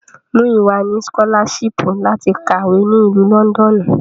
Muyiwa ni sikolaṣipu lati kawe ni Ilu Lọndọnu